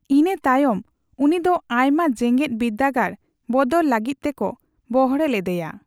ᱤᱱᱟ. ᱛᱟᱭᱚᱢ ᱩᱱᱤᱫᱚ ᱟᱭᱢᱟ ᱡᱮᱜᱮᱫ ᱵᱤᱨᱫᱟᱹᱜᱟᱲ ᱵᱚᱫᱚᱞ ᱞᱟᱹᱜᱤᱫ ᱛᱮᱠᱚ ᱵᱚᱦᱲᱮ ᱞᱮᱫᱮᱭᱟ ᱾